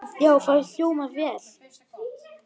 Já, það hljómar vel.